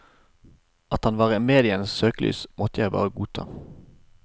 At han var i medienes søkelys, måtte jeg bare godta.